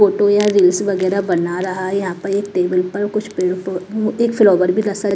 Photo या reels वगैरह बना रहा है यहां पर एक टेबल पर कुछ एक फ्लावर भी .]